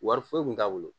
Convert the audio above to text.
Wari foyi tun t'a bolo